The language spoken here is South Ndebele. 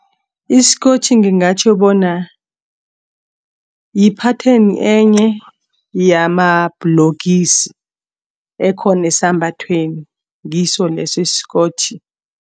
Isikotjhi ngingatjho bona yi-patterns enye yama-bhulokisi ekhona esambathweni ngiso leso isikotjhi.